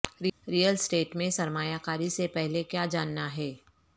real estate میں سرمایہ کاری سے پہلے کیا جاننا ہے